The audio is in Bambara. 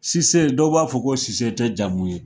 Cisse dɔw b'a fɔ ko Cisse te jamu ye